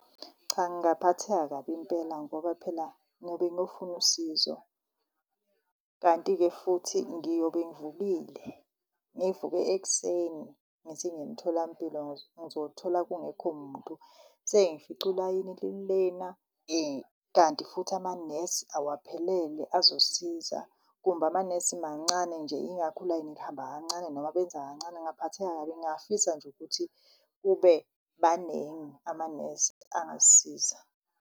Cha, ngingaphatheka kabi impela ngoba phela ngobe ngiyofuna usizo. Kanti-ke futhi ngiyobe ngivukile, ngivuke ekuseni ngithi ngiyemtholampilo ngizothola kungekho muntu. Sengifica ulayini lilena kanti futhi amanesi awaphelele azosisiza, kumbe amanesi mancane nje. Ingakho ulayini lihamba kancane noma benza kancane, ngingaphatheka kabi. Ngingafisa nje ukuthi kube baningi amanesi angasisiza.